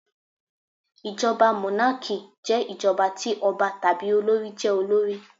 Ìjọba mónákì jẹ́ ìjọba ti ọba tàbí olorì jé olórí